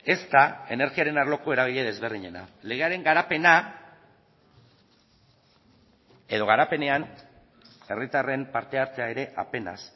ezta energiaren arloko eragile desberdinena legearen garapena edo garapenean herritarren parte hartzea ere apenas